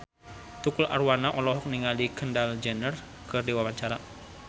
Tukul Arwana olohok ningali Kendall Jenner keur diwawancara